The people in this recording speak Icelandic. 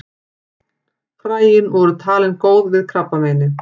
Fræin voru talin góð við krabbameini.